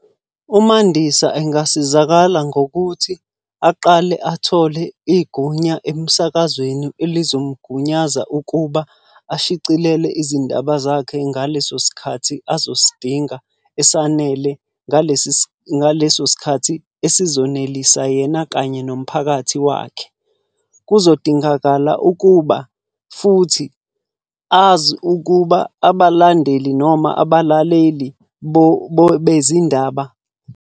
UMandisa engasizakala ngokuthi aqale athole igunya emsakazweni elizomugunyaza ukuba ashicilele izindaba zakhe ngaleso sikhathi azosidinga esanele. Ngaleso sikhathi esizonelisa yena kanye nomphakathi wakhe. Kuzodingakala ukuba futhi azi ukuba abalandeli noma abalaleli bezindaba.